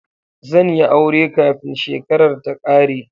Zan yi aure kafin shekarar ta ƙare